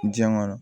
Diɲɛ kɔnɔ